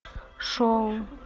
шоу